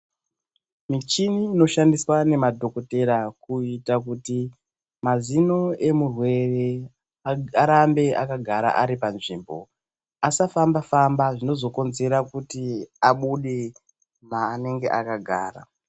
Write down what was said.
Michini inoshandiswa nemadhokotera kuita kuti mazino emurwere arambe akagara ari panzvimbo, asafamba famba zvinozokonzera kuti abude maanenge akagara.